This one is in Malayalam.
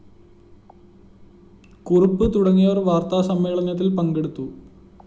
കുറുപ്പ് തുടങ്ങിയവര്‍ വാര്‍ത്താസമ്മേളനത്തില്‍ പങ്കെടുത്തു